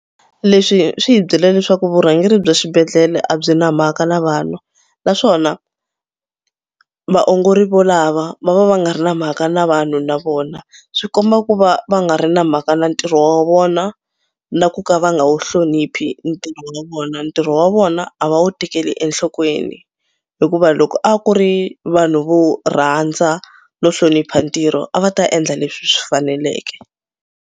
Leswi swi hi byela leswaku vurhangeri bya xibedhlele a byi na mhaka na vanhu naswona vaongori volava va va va nga ri na mhaka na vanhu na vona. Swi komba ku va va nga ri na mhaka na ntirho wa vona na ku ka va nga wu hloniphi ntirho wa vona. Ntirho wa vona a va wu tekeli enhlokweni hikuva loko a ku ri vanhu vo rhandza no hlonipha ntirho a va ta endla leswi swi faneleke.